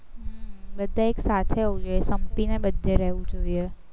બધાએ એકસાથે સંપીને બધે રહેવું જોઈએ